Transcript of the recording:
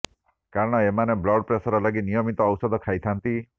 କାରଣ ଏମାନେ blood pressure ଲାଗି ନିୟମିତ ଔଷଧ ଖାଇଥାନ୍ତି